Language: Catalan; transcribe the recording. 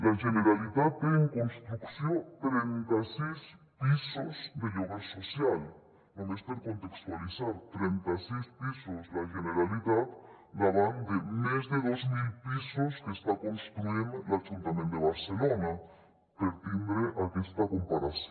la generalitat té en construcció trenta sis pisos de lloguer social només per contextualitzar trenta sis pisos la generalitat davant de més de dos mil pisos que està construint l’ajuntament de barcelona per tindre aquesta comparació